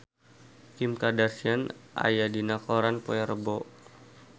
Kim Kardashian aya dina koran poe Rebo